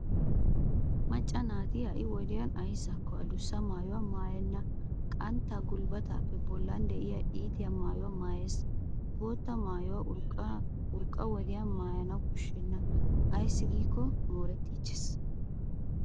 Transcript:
Macca naati ha'i wodiyan ayssakko adussa maayuwa maayenna qantta gulbbatappe bollan diya iitiya maayuwaa maayes. Bootta maayuwa urqqa wodiyan maayana koshshena ayssi giikko moorettiichches.